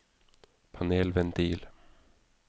panelventil